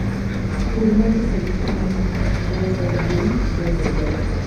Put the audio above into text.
Purr mokiko gi cham malegum bende ber.